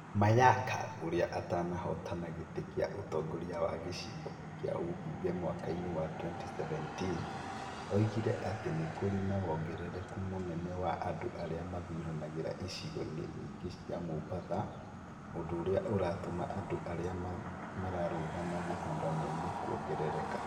Mayaka ũrĩa atanahootana gĩtĩ kĩa ũtongoria wa gĩcigo kĩa ũmbunge mwaka-inĩ wa 2017, oigire atĩ nĩ kũrĩ na wongerereku mũnene wa andũ arĩa mathuranagĩra ĩcigo nyingĩ cia Mombatha, ũndũ ũrĩa uratũma andũ arĩa mararũgama gĩthurano-inĩ kũongereraka.